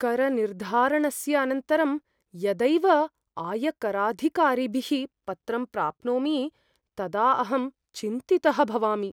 करनिर्धारणस्य अनन्तरं यदैव आयकराधिकारिभिः पत्रं प्राप्नोमि तदा अहं चिन्तितः भवामि।